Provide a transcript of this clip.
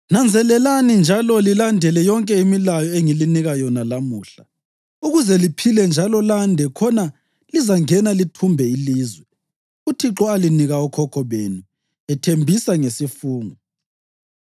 “Nanzelelani njalo lilandele yonke imilayo engilinika yona lamuhla, ukuze liphile njalo lande khona lizangena lithumbe ilizwe uThixo alinika okhokho benu ethembisa ngesifungo.